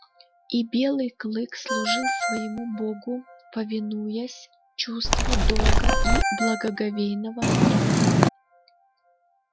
и белый клык служил своему богу повинуясь чувству долга и благоговейного страха